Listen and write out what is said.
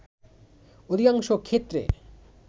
অধিকাংশ ক্ষেত্রে